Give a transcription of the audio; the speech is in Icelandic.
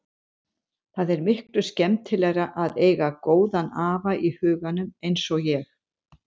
Það er miklu skemmtilegra að eiga góðan afa í huganum eins og ég.